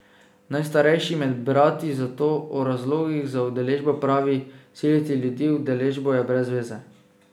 Najstarejši med brati zato o razlogih za udeležbo pravi: "Siliti ljudi v udeležbo je brez veze.